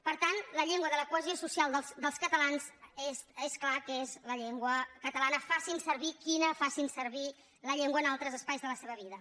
per tant la llengua de la cohesió social dels catalans és clar que és la llengua catalana facin servir la que facin servir en altres espais de la seva vida